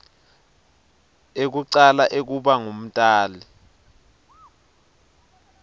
ekucala ekuba ngumtali